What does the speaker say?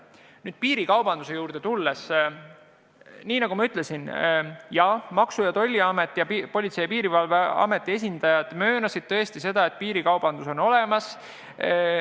Kui piirikaubanduse juurde tulla, siis, nagu ma ütlesin, Maksu- ja Tolliameti ning Politsei- ja Piirivalveameti esindajad möönsid, et piirikaubandus on olemas.